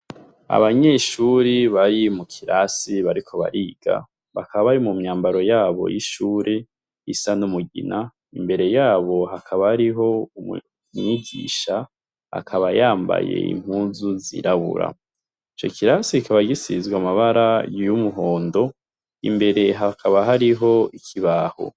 Abanyeshuri bari mu kirasi bariko bariga bakaba bari mwambaro yabo y'ishuri isa n'umugina, imbere yabo hakaba hariho umwigisha akaba yambaye impuzu zirabura, ico kirasi kikaba gisize amabara y'umuhondo ,imbere hakaba hariho ikibaho.